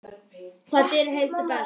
Hvaða dýr heyrir best?